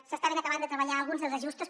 s’estaven acabant de treballar alguns dels ajustos